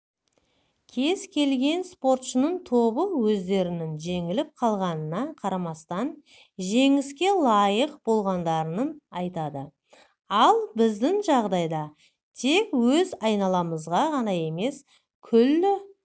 кез келген спортшының тобы өздерінің жеңіліп қалғанына қарамастан жеңіске лайық болғандарын айтады ал біздің жағдайда тек өз айналамыз ғана емес күллі